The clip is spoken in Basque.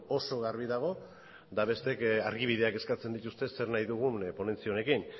oso garbi dago eta besteek argibideak eskatzen dituzte zer nahi dugun ponentzia honekin